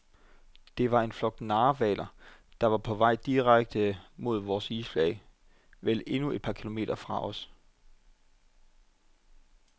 Det var en flok narhvaler, der var på vej direkte mod vores isflage, vel endnu et par kilometer fra os.